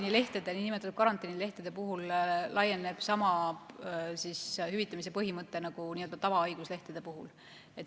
Nende niinimetatud karantiinilehtede puhul kehtib sama hüvitamise põhimõte nagu tavahaiguslehtede puhul.